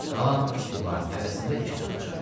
Qalan üç divarın hərəsində iki taxça.